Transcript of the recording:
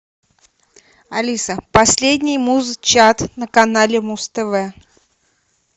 алиса последний муз чат на канале муз тв